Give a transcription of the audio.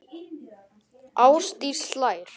Ásdís hlær.